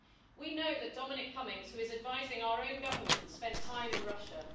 We know that Dominic Cummings, who is advising our own government, spent time in Russia.